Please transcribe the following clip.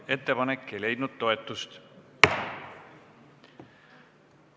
Ettepanek ei leidnud toetust.